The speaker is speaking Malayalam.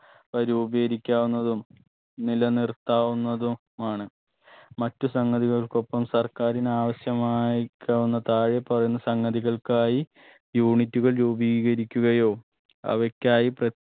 വ രൂപീകരിക്കാവുന്നതും നിലനിർത്താവുന്നതും മാണ് മറ്റു സാങ്കേതികൾക്കൊപ്പം സർക്കാരിന് ആവശ്യമായി ക്കാവുന്ന താഴെ പറയുന്ന സങ്കതികൾക്കായി unit കൾ രൂപീകരിക്കുകയോ അവക്കായി പ്ര